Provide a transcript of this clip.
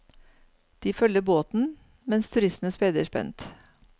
De følger båten, mens turistene speider spent.